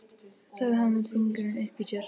sagði hann með fingurinn uppi í sér.